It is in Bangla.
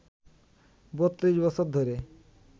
৩২ বছর ধরে